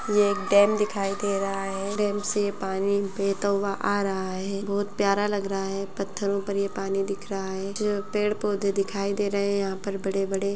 ये एक डेम दिखाई दे रहा है डेम से पानी बहता हुआ आ रहा है बहुत प्यारा लग रहा है पत्थरो पर ये पानी दिख रहा है जो पेड़-पोधे दिखाई दे रहे है यहाँ पर बड़े-बड़े --